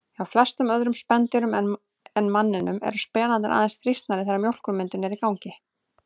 Hjá flestum öðrum spendýrum en manninum eru spenarnir aðeins þrýstnir þegar mjólkurmyndun er í gangi.